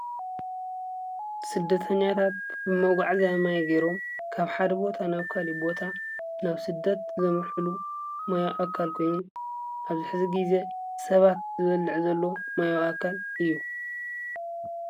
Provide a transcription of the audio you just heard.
ስደተኛታት ብመጓዓዝያ ማይ ገይሮም ካብ ሓደ ቦታ ናብ ካሊእ ቦታ ናብ ስደት ዘምርሑሉ ማያዊ ኣካል ኮይኑ ኣብዚ ሕዚ ግዜ ሰባት ዝበልዕ ዘሎ ማያዊ ኣካል እዩ፡፡